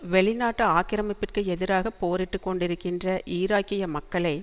வெளி நாட்டு ஆக்கிரமிப்பிற்கு எதிராக போரிட்டு கொண்டிருகின்ற ஈராக்கிய மக்களை